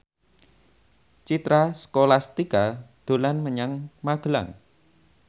Citra Scholastika dolan menyang Magelang